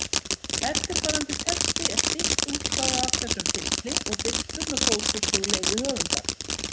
Eftirfarandi texti er stytt útgáfa af þessum pistli og birtur með góðfúslegu leyfi höfundar.